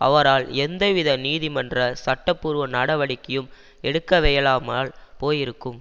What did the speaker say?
அவரால் எந்தவித நீதிமன்ற சட்டபூர்வ நடவடிக்கையும் எடுக்கவியலாமல் போயிருக்கும்